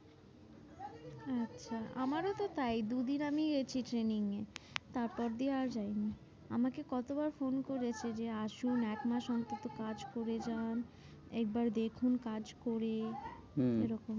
আচ্ছা আমারও তো তাই দুদিন আমি গেছি training এ তারপর দিয়ে আর যাইনি। আমাকে কতবার ফোন করেছে যে আসুন একমাস অন্তত কাজ করে যান। একবার দেখুন কাজ করে হম এরকম।